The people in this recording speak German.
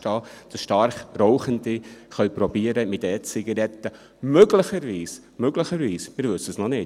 Der stark Rauchende kann versuchen, mit E-Zigaretten – möglicherweise, wir wissen es noch nicht;